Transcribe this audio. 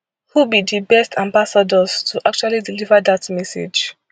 who be di best ambassadors to actually deliver dat message